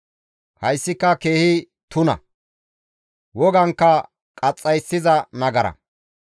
Hayssika keehi tuna; Wogankka qaxxayssiza nagara.